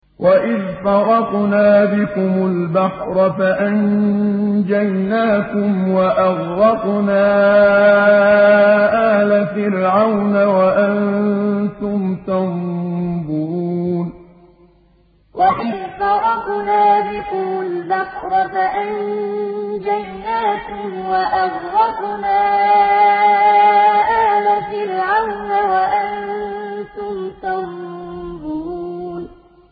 وَإِذْ فَرَقْنَا بِكُمُ الْبَحْرَ فَأَنجَيْنَاكُمْ وَأَغْرَقْنَا آلَ فِرْعَوْنَ وَأَنتُمْ تَنظُرُونَ وَإِذْ فَرَقْنَا بِكُمُ الْبَحْرَ فَأَنجَيْنَاكُمْ وَأَغْرَقْنَا آلَ فِرْعَوْنَ وَأَنتُمْ تَنظُرُونَ